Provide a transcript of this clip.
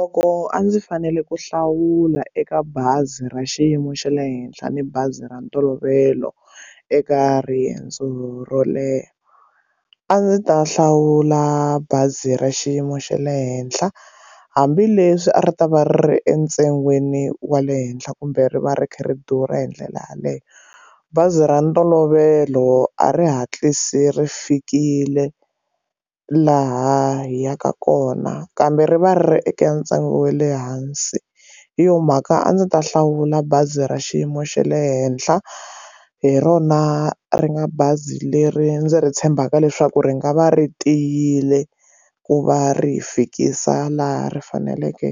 Loko a ndzi fanele ku hlawula eka bazi ra xiyimo xa le henhla ni bazi ra ntolovelo eka riendzo ro leha a ndzi ta hlawula bazi ra xiyimo xa le henhla hambileswi a ri ta va ri entsungeni wa le henhla kumbe ri va ri kha ri durha hi ndlela yaleyo bazi ra ntolovelo a ri hatlisi ri fikile laha hi yaka kona kambe ri va ri eka ntsengo wa le hansi hi yo mhaka a ndzi ta hlawula bazi ra xiyimo xa le henhla hi rona ri nga bazi leri ndzi ri tshembaka leswaku ri nga va ri tiyile ku va ri hi fikisa laha ri faneleke